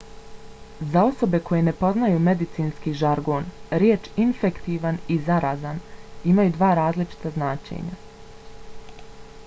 za osobe koje ne poznaju medicinski žargon riječi infektivan i zarazan imaju različita značenja